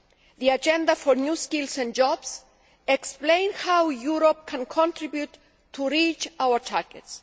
The agenda for new skills and jobs explains how Europe can contribute to reaching our targets.